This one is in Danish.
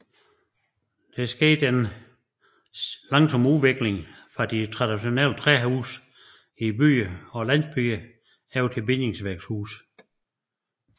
Der skete derfor en langsom udvikling fra de traditionelle træhuse i byer og landsbyer over til bindingsværkshuse